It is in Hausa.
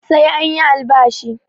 Sai an yi albashi